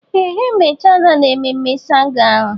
Ee ha emechala na mmemme ṣàngó ahụ.